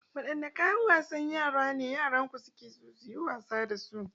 Wadanne kayan wasan yara ne yaranku suke so su yi wasa da su?